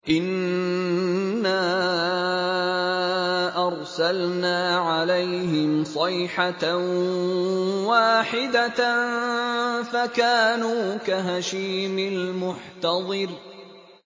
إِنَّا أَرْسَلْنَا عَلَيْهِمْ صَيْحَةً وَاحِدَةً فَكَانُوا كَهَشِيمِ الْمُحْتَظِرِ